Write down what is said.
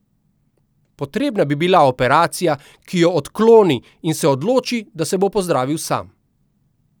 Potrebna bi bila operacija, ki jo odkloni, in se odloči, da se bo pozdravil sam.